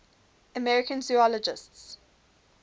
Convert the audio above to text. american zoologists